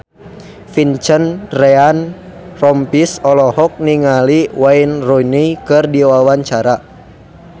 Vincent Ryan Rompies olohok ningali Wayne Rooney keur diwawancara